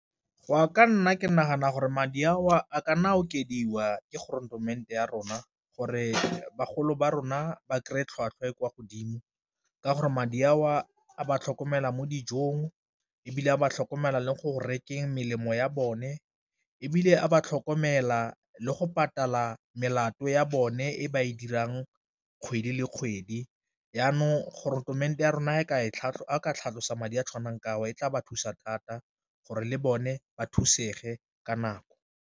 Go ya ka nna ke nagana gore madi a o a ka nna okediwa ke ya rona gore bagolo ba rona ba kry-e tlhwatlhwa e kwa godimo ka gore madi a o a ba tlhokomela mo dijong, ebile a ba tlhokomela le go rekeng melemo ya bone, ebile a ba tlhokomela le go patala melato ya bone e ba e dirang kgwedi le kgwedi, jaanong ya rona a ka tlhatlhosa madi a a tshwanang ka a o e tla ba thusa thata gore le bone ba thusegile ka nako.